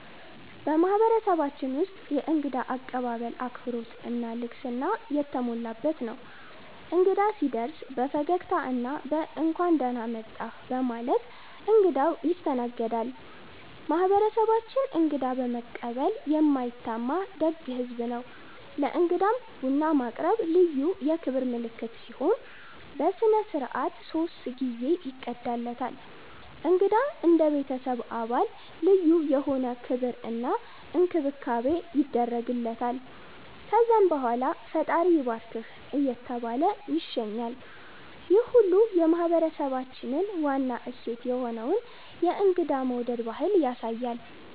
በማህበረሰባችን ውስጥ የእንግዳ አቀባበል አክብሮት እና ልግስና የተሞላበት ነው። እንግዳ ሲደርስ በፈገግታ እና በ“እንኳን ደህና መጣህ” በማለት እንግዳው ይስተናገዳል። ማህበረሰባችን እንግዳ በመቀበል የማይታማ ደግ ህዝብ ነው። ለእንግዳም ቡና ማቅረብ ልዩ የክብር ምልክት ሲሆን፣ በሥነ ሥርዓት ሶስት ጊዜ ይቀዳለታል። እንግዳ እንደ ቤተሰብ አባል ልዩ የሆነ ክብር እና እንክብካቤ ይደረግለታል። ከዛም በኋላ “ፈጣሪ ይባርክህ” እየተባለ ይሸኛል፣ ይህ ሁሉ የማህበረሰባችንን ዋና እሴት የሆነውን የእንግዳ መውደድ ባህል ያሳያል።